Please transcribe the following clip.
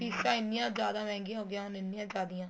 ਫੀਸਾਂ ਐਨੀਆਂ ਜਿਆਦਾ ਮਹਿੰਗਈਆਂ ਹੋ ਗਈਆਂ ਹੁਣ ਐਨੀਆਂ ਜਿਆਦੀਆਂ